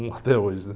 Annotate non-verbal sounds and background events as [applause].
[unintelligible] até hoje, né?